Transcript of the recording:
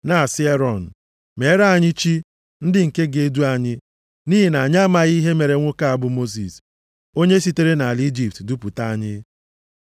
na-asị Erọn, ‘Meere anyị chi, ndị nke ga-edu anyị, nʼihi na anyị amaghị ihe mere nwoke a bụ Mosis, onye sitere nʼala Ijipt dupụta anyị.’ + 7:40 \+xt Ọpụ 32:1\+xt*